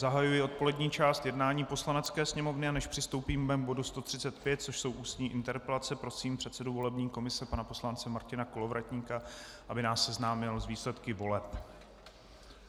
Zahajuji odpolední část jednání Poslanecké sněmovny, a než přistoupíme k bodu 135, což jsou ústní interpelace, prosím předsedu volební komise pana poslance Martina Kolovratníka, aby nás seznámil s výsledky voleb.